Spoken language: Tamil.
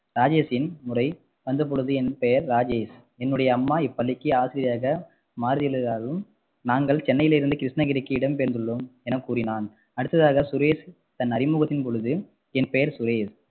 ராஜேஷின் முறை வந்த பொழுது என் பெயர் ராஜேஷ் என்னுடைய அம்மா இப்பள்ளிக்கு ஆசிரியராக மாறியுள்ளதாகவும் நாங்கள் சென்னையில் இருந்து கிருஷ்ணகிரிக்கு இடம் பெயர்ந்துள்ளோம் எனக்கூறினான் அடுத்ததாக சுரேஷ் தன் அறிமுகத்தின் பொழுது என் பெயர் சுரேஷ்